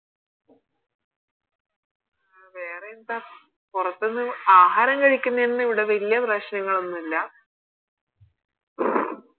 വേറെ എന്താ പൊറത്തിന്ന് ആഹാരം കഴിക്കുന്നേനൊന്നും ഇവിടെ വല്യ പ്രശ്നങ്ങളൊന്നും ഇല്ല